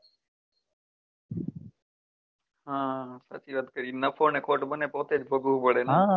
હા સાચી વાત કરી નફો ને ખોટ બન્ને પોત્તે જ ભોગવવું પડે